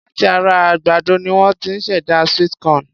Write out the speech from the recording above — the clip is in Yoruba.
Láti ara àgbàdo ni won ti ṣ'èdá sweet corn.